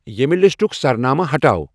ییمِہ لسٹُک سرنامہٕ ہٹاو ۔